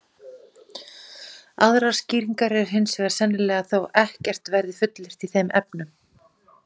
Aðrar skýringar eru hins vegar sennilegri þótt ekkert verði fullyrt í þeim efnum.